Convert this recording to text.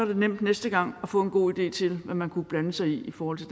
det nemt næste gang at få en god idé til hvad man kunne blande sig i i forhold til